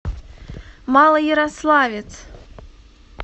малоярославец